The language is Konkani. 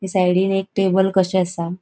ये सायडीन एक टेबल कशे आसा.